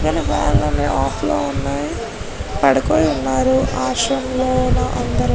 fan లు off లో ఉన్నాయి పడుకుని ఉన్నారు ఆశ్రమం లోన అందరూ --